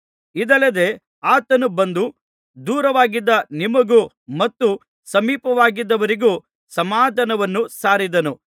ಇದಲ್ಲದೆ ಆತನು ಬಂದು ದೂರವಾಗಿದ್ದ ನಿಮಗೂ ಮತ್ತು ಸಮೀಪವಾಗಿದ್ದವರಿಗೂ ಸಮಾಧಾನವನ್ನು ಸಾರಿದನು